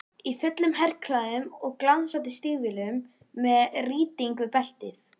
Í fullum herklæðum og glansandi stígvélum, með rýting við beltið.